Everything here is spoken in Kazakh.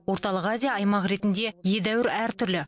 орталық азия аймақ ретінде едәуір әртүрлі